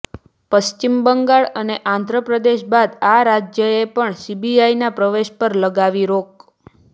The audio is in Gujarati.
પશ્વિમ બંગાળ અને આંધ્ર પ્રદેશ બાદ આ રાજ્યએ પણ સીબીઆઈના પ્રવેશ પર લગાવી રોક